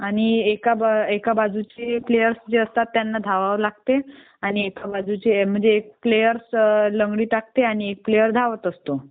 आणि एका बाजूचे प्लेयर्स जे असतात त्याना धावावे लागते म्हणजे एक प्लेअर लंगडी टाकतो आणि एक धावत असतो.